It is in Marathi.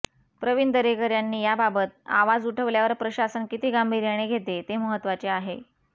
प्रवीण दरेकर यांनी याबाबत आवाज उठल्यावर प्रशासन किती गांभीर्याने घेते ते महत्त्वाचे आहे